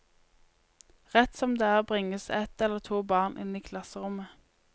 Rett som det er bringes ett eller to barn inn i klasserommet.